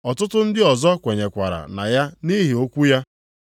Ọtụtụ ndị ọzọ kwerekwara na ya nʼihi okwu ya.